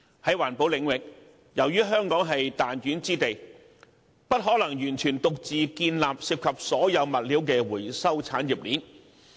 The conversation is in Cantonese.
在環保領域，由於香港是彈丸之地，不可能完全獨自建立涉及所有物料的回收產業鏈。